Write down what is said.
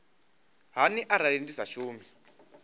hani arali ndi sa shumi